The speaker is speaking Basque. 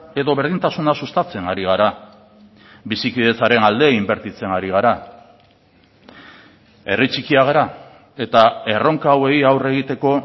edo berdintasuna sustatzen ari gara bizikidetzaren alde inbertitzen ari gara herri txikia gara eta erronka hauei aurre egiteko